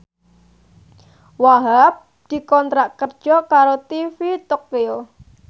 Wahhab dikontrak kerja karo TV Tokyo